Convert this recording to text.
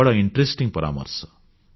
ବଡ଼ କୌତୁହଳପୂର୍ଣ୍ଣ ପରାମର୍ଶ